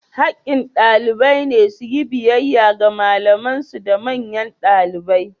Hakkin ɗalibai ne su yi biyayya ga malaman su da manyan ɗalibai.